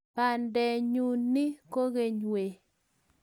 Bondenyu nee kokeny wee?